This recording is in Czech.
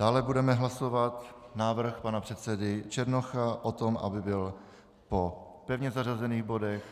Dále budeme hlasovat návrh pana předsedy Černocha o tom, aby byl po pevně zařazených bodech